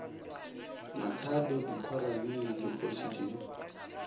makhado dikhorane le dikgoši di